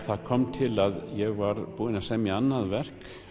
það kom til að ég var búinn að semja annað verk